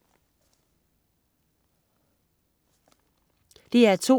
DR2: